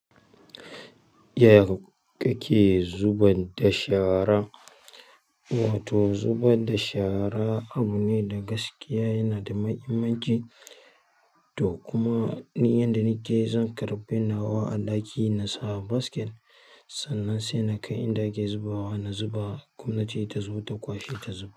Yaya kake zuba da shara? Wato zuba da shara abu ne da gaskiya yana da mahimmanci to kuma ni yanda nike zan karɓe nawa a ɗaki na sa basket sannan sai na kai inda ake zubawa na zuba ko na ce ta zo ta kwashe ta zuba.